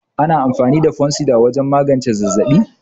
Ana amfani da Fansida wajan magance zazzaɓi